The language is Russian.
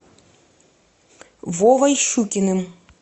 вовой щукиным